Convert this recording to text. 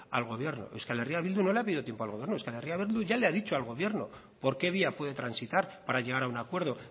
al gobierno euskal herria bildu no le ha pedido tiempo al gobierno euskal herria bildu ya le ha dicho al gobierno por qué vía puede transitar para llegar a un acuerdo